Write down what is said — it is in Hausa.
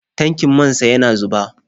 Tankin man sa yana zuba.